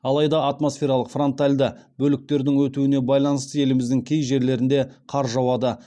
алайда атмосфералық фронтальды бөліктердің өтуіне байланысты еліміздің кей жерлерінде қар жауады